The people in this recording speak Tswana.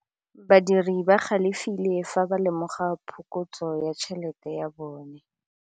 Badiri ba galefile fa ba lemoga phokotsô ya tšhelête ya bone.